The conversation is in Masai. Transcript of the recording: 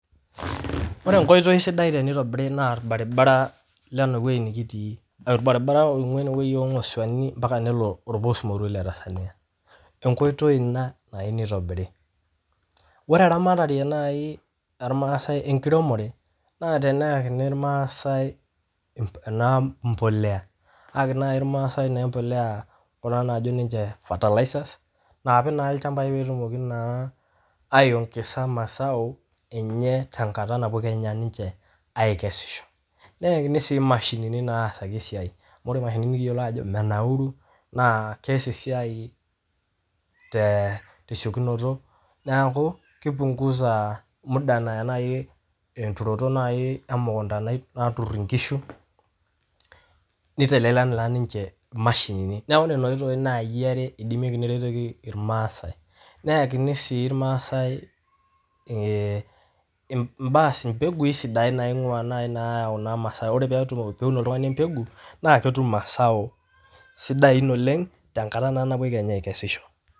Ore enkoitoi sidai teneitobiri naa irbaribara le ene weji nikitii, irbaribara oing'uaa eneweji oo ng'osuani mpaka nelo olbosmoru le Tanzania, enkoitoi ina nayeu neitobirri. Ore eramatare naii olmaaasai enkiremore naa teneyakini ilmaasai naa impolea, aaki naa ilmaasai na impolea kuna naajo ninche fertilisers naapik naa ilchambai peetumoki naa aiongesa masao enye te nkata kenya napuo ninche aikesisho, neyakini sii mashinini naasaki esiaai amu ore mashinini nikiyolo ajo menauru naa keyas esiai te siekunoto, naaku keipungusa emuda naya naii enturoto naii emukunta naaturr inkishu, neitelelek naii ninche mashinini, naaku nena oitoi nai enare eidemeki neretoki irmaasai, neakini sii irmaasai impegui sidain naii naing'ua naaii naayau naa masau, ore peun oltunganu empegu naa ketum masau sidain oleng te nkata nappi kenya aikesisho.